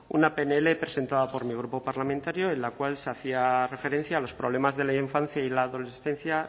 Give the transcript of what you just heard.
una pnl presentada por mi grupo parlamentario en la cual se hacía referencia a los problemas de la infancia y la adolescencia